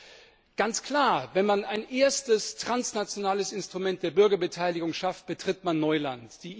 Es ist ganz klar Wenn man ein erstes transnationales Instrument der Bürgerbeteiligung schafft, betritt man Neuland.